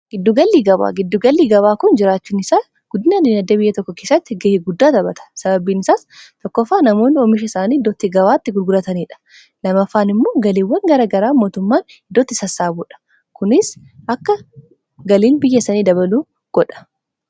Giddu gala gabaa, giddu gallii gabaa kun jiraachuun isaa guddina inni diinagdee biyya tokko keesatti ga'ee guddaa taphata. Sababbiin isaas tokkofaa namoonni oomisha isaanii idootti gabaatti gugurataniidha. Lamaffaan immoo galiiwwan garagaraa mootummaan iddootti sassaabuudha. kunis akka galiin biyya isanii dabaluu godha.